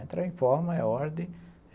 Entra em forma, é ordem.